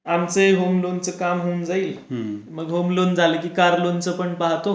म्हणजे कसं की आमचे होम लोनचे काम होऊन जाईल मग होम लोन झाले की कार लोन पण पाहतो.